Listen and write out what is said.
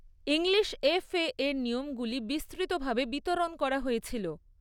English FA এর নিয়মগুলি বিস্তৃতভাবে বিতরণ করা হয়েছিল।